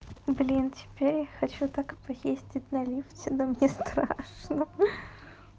блин теперь хочу так и поездить на лифте но мне страшно хи-хи